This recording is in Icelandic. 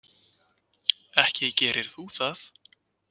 Ekki gerir þú það!